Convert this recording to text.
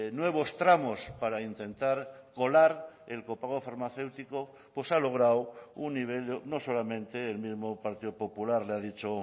nuevos tramos para intentar colar el copago farmacéutico pues ha logrado un nivel no solamente el mismo partido popular le ha dicho